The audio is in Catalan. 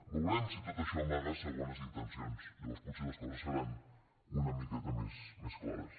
veurem si tot això amaga segones intencions llavors potser les coses seran una miqueta més clares